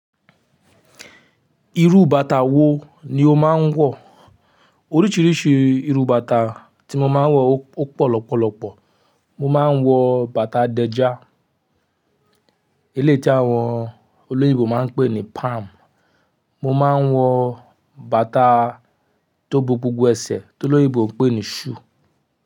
Irú bàtà wo ni o máa ń wọ̀? Oríṣiríṣi irú bàtà tí mo máa ń wọ̀ ó pọ̀ lọ́pọ̀lọpọ̀. Mo máa ń wọ bàtà dẹ́já, eléyìí tí àwọn olóyìnbó máa ń pè ní palm. Mo máa ń wọ bàtà tó gbogbogbò ẹsẹ̀ tó lóyìnbó ń pè ní shoe.